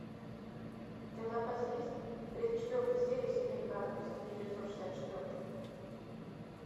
у тебя в запасе есть тридцать четвертая серия семейка адамс тысяча девятьсот шестьдесят четвертый